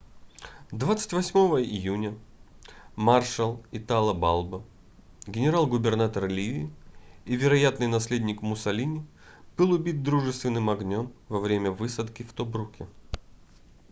28 июня маршал итало балбо генерал-губернатор ливии и вероятный наследник муссолини был убит дружественным огнём во время высадки в тобруке